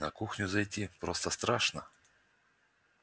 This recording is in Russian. на кухню зайти просто страшно